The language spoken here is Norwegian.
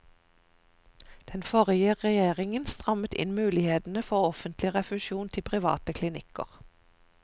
Den forrige regjeringen strammet inn mulighetene for offentlig refusjon til private klinikker.